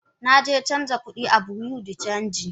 Naje canja kudi a bureau de change.